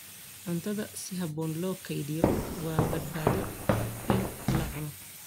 Cuntada si habboon loo kaydiyo waa badbaado in la cuno.